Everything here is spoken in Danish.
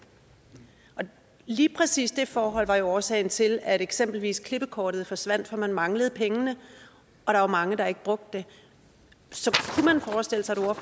lige præcis det forhold var jo årsagen til at eksempelvis klippekortet forsvandt for man manglede pengene og der var mange der ikke brugte det så kunne man forestille sig